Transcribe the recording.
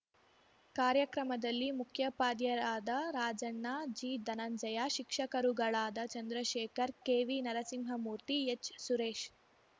ಕಾರ್ಯಕ್ರಮದಲ್ಲಿ ಮುಖ್ಯೋಪಾಧ್ಯಯರಾದ ರಾಜಣ್ಣ ಜಿಧನಂಜಯ ಶಿಕ್ಷಕರುಗಳಾದ ಚಂದ್ರಶೇಖರ್ ಕೆವಿನರಸಿಂಹಮೂರ್ತಿ ಎಚ್ಸುರೇಶ್